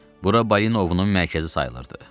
Bura balina ovunun mərkəzi sayılırdı.